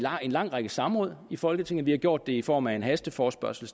en lang række samråd i folketinget og vi har gjort det i form af en hasteforespørgsel